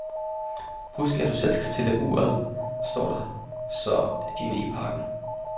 Husk, du skal selv stille uret, står der så inden i pakken.